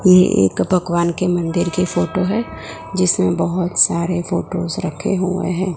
यह भगवान के मंदिर की फोटो है जिसमें बहुत सारे फोटोस रखे हुए हैं।